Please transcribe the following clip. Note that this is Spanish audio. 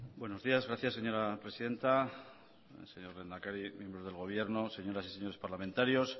buenos días gracias señora presidenta señor lehendakari miembros del gobierno señoras y señores parlamentarios